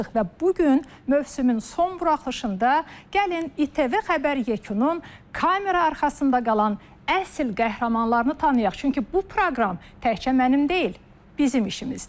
Və bu gün mövsümün son buraxılışında gəlin İTV xəbər yekunun kamera arxasında qalan əsl qəhrəmanlarını tanıyaq, çünki bu proqram təkcə mənim deyil, bizim işimizdir.